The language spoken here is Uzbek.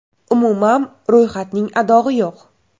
Umuman, ro‘yxatning adog‘i yo‘q.